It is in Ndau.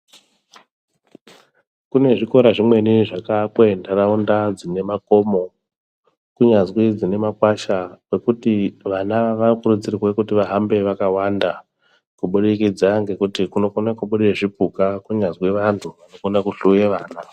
Kune zvikora zvimweni zvakaakwa munharaunda ine makomo kunyazwi kune makwasha. Vana vanokurudzirwa kuti vahambe vakawanda kubudikidza ngekuti kunokone kubuda zvipuka kunyazwi vanhu vanokone kuhloya vana.